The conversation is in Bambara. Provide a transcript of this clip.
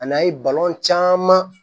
A n'a ye caman